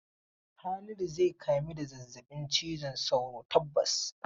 Haliru zai kamu da zazzabin cizon sauro tabbas.